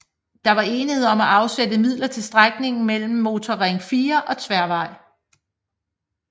Der var enighed om at afsætte midler til strækningen mellem Motorring 4 og Tværvej